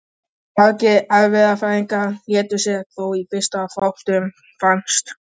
Margir erfðafræðingar létu sér þó í fyrstu fátt um finnast.